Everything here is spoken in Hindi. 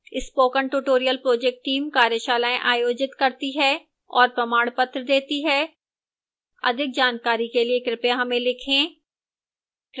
spoken tutorial project team कार्यशालाएँ आयोजित करती है और प्रमाणपत्र देती है अधिक जानकारी के लिए कृपया हमें लिखें